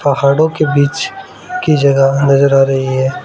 पहाड़ों के बीच की जगह नजर आ रही है।